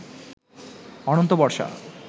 অনন্ত বর্ষা